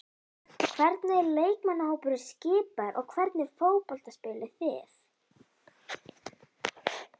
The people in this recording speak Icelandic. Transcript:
Hvernig er leikmannahópurinn skipaður og hvernig fótbolta spilið þið?